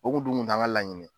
U kun dun kun t'an ka laɲini ye.